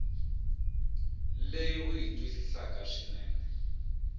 leyi u yi twisisaka swinene